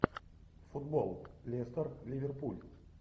футбол лестер ливерпуль